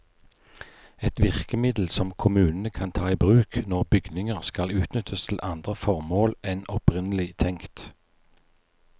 Et virkemiddel som kommunene kan ta i bruk når bygninger skal utnyttes til andre formål enn opprinnelig tenkt.